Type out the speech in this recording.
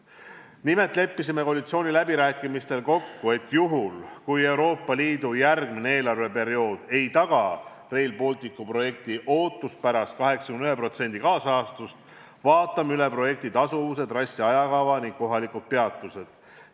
Nimelt leppisime koalitsiooniläbirääkimistel kokku, et juhul, kui Euroopa Liidu järgmiseks eelarveperioodiks ei tagata Rail Balticu projektile ootuspärast 81%-list kaasrahastust, siis vaatame üle projekti tasuvuse, trassi ajakava ning kohalikud peatused.